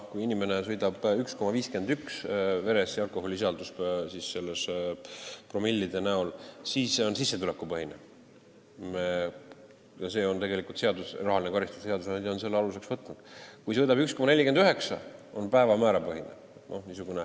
Kui inimene sõidab nii, et veres on alkoholisisaldus 1,51 promilli, siis rahaline karistus on sissetulekupõhine, seadusandja on selle aluseks võtnud, kui veres on 1,49 promilli, on päevamäärapõhine.